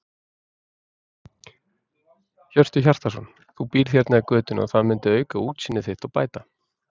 Hjörtur Hjartarson: Þú býrð hérna í götunni og það myndi auka útsýni þitt og bæta?